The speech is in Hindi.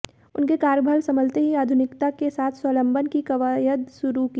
उनके कार्य संभलते ही आधुनिकता के साथ स्वावलंबन की कवायद शुरू की